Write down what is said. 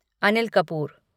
Anil Kapoor